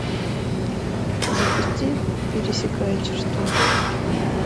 запусти пересекая черту